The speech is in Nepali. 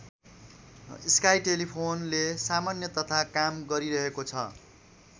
स्काई टेलिफोनले सामान्य तथा काम गरिरहेको छ।